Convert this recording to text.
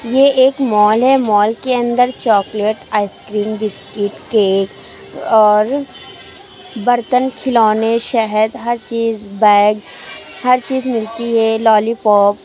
ये एक मॉल है माॅल के अंदर चॉकलेट आइस्क्रीम बिस्किट केक और बर्तन खिलौने शहद हर चीज बैग हर चीज मिलती है लॉलीपॉप ।